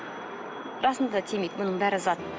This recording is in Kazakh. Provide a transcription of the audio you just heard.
расында да тимейді мұның бәрі зат